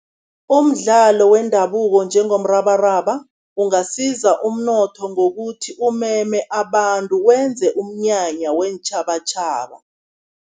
Umdlalo wendabuko njengomrabaraba, ungasiza umnotho ngokuthi umeme abantu, wenze umnyanya weentjhabatjhaba.